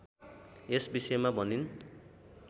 यस विषयमा भनिन्